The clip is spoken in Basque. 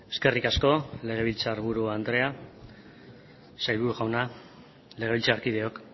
eskerrik asko legebiltzar buru andrea sailburu jauna legebiltzarkideok